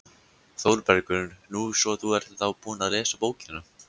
ÞÓRBERGUR: Nú, svo þú ert þá búin að lesa bókina!